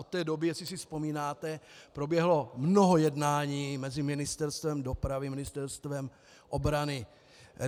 Od té doby, jestli si vzpomínáte, proběhlo mnoho jednání mezi Ministerstvem dopravy, Ministerstvem obrany.